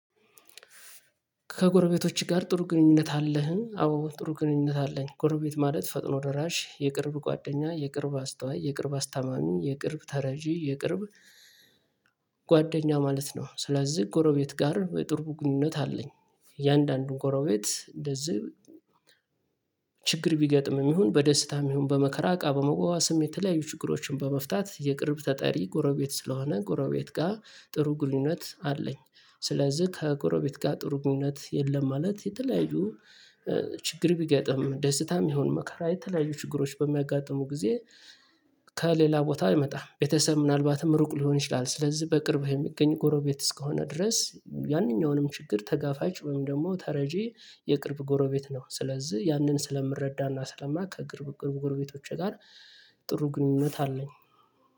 ከጎረቤቶች ጋር ጥሩ ግንኙነት አለህ? አዎ ጥሩ ግንኙነት አለኝ ጎረቤት ማለት ፈጥኖ ደራሽ የቅርብ ጓደኛ የቅርብ አስታዋይ የቅርብ አስታማሚ የቅርብ ተረጂ የቅርብ ጓደኛ ማለት ነው ስለዚህ ጎረቤት ጋር የጥብቅ ግንኙነት አለኝ እያንዳንዱን ጎረቤት እንደዚህ ችግር ቢገጥምም ይሁን በደስታም ይሁን በመከራ እቃ በመዋዋስም የተለያዩ ችግሮችን በመፍታት የቅርብ ተጠሪ ጎረቤት ስለሆነ ጎረቤት ጋር ጥሩ ግንኙነት አለኝ ስለዚህ ከጎረቤት ጋር ጥሩ ግንኙነት የለም ማለት የተለያዩ ችግር ቢገጥም ደስታም ይሁን መከራ የተለያዩ ችግሮች በሚያጋጥሙ ጊዜ ከሌላ ቦታ አይመጣም ቤተሰብ ምናልባትም ሩቅ ሊሆን ይችላል ስለዚህ በቅርብህ የሚገኝ ጎረቤት እስከሆነ ድረስ ያንኛውንም ችግር ተጋፋጭ ወይም ደግሞ ተረጂ የቅርብ ጎረቤት ነው ስለዚህ ያንን ስለምረዳና ስለማያውቅ ከቅርብ ጎረቤቶቼ ጋር ጥሩ ግንኙነት አለኝ።